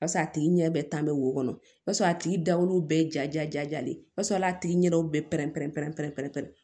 Bas'a tigi ɲɛ bɛɛ tan bɛ wo kɔnɔ o b'a sɔrɔ a tigi da woro bɛɛ ja ja jalen o b'a sɔrɔ a y'a tigi ɲɛdaw bɛɛ la